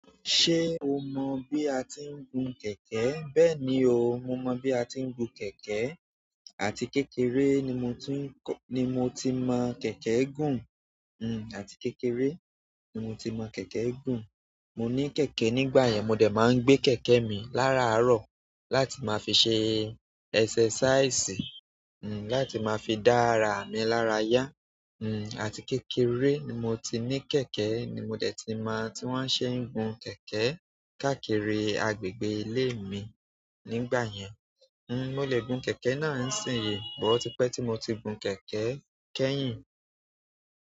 Ṣé o mọ́ bí a ti ń gun kẹ̀kẹ́? Bẹ́ẹ̀ni o, mo mọ bí a ti ń gun kẹ̀kẹ́. Àti kékeré ni mo ti mọ kẹ̀kẹ́ gùn, àti kékeré ni mo ti mọ kẹ̀kẹ́ gùn. Mo ní kẹ̀kẹ́ nígbà yẹn, mo dà máa ń gbé kẹ̀kẹ́ mi láraàárọ̀ láti máa fi ṣe exercise, láti máa fi dá ara mi lára yá. Àti kékeré ni mo ti ní kẹ̀kẹ́ ni mo de ti mo ti wọ́n ṣe ń gun kẹ̀kẹ́ káàkiri agbègbè ilé mi nígbà yẹn. Mo lè gun kẹ̀kẹ́ náà ń sìn yo, but o tí pẹ́ tí mo ti gun kẹ̀kẹ́ kẹ́yìn.